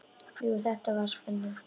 Jú, það var spenna.